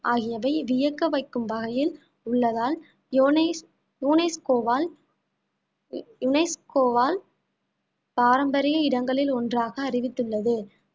ஆகியவை வியக்க வைக்கும் வகையில் உள்ளதால் UNES~ UNESCO வால் UNESCO வால் பாரம்பரிய இடங்களில் ஒன்றாக அறிவித்துள்ளது